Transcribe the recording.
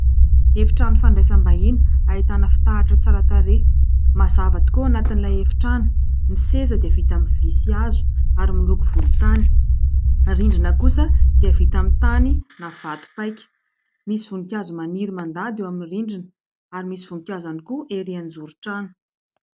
Efitrano fandraisam-bahiny, ahitana fitaratra tsara tarehy, mazava tokoa ao anatin'ilay efitrano, ny seza dia vita amin'ny vy sy hazo ary miloko volontany, ny rindrina kosa dia vita amin'ny tany na vato paika, misy voninkazo maniry mandady eo amin'ny rindrina ary misy voninkazo ihany koa erỳ an-joron-trano.